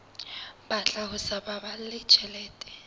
batla ho sa baballe tjhelete